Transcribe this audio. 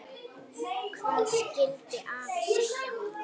Hvað skyldi afi segja?